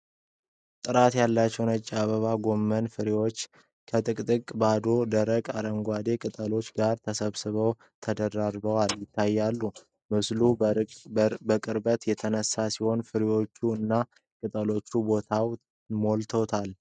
ጥራት ያላቸው ነጭ አበባ ጎመን (cauliflower) ፍሬዎች ከጥቅጥቅ ባለ ደማቅ አረንጓዴ ቅጠሎቻቸው ጋር ተሰብስበው ተደራርበው ይታያሉ። ምስሉ በቅርበት የተነሳ ሲሆን ፍሬዎቹ እና ቅጠሎቹ ቦታውን ሞልተውታል።